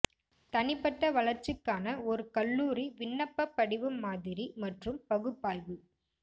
தனிப்பட்ட வளர்ச்சிக்கான ஒரு கல்லூரி விண்ணப்பப் படிவம் மாதிரி மற்றும் பகுப்பாய்வு